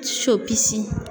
Sopisi.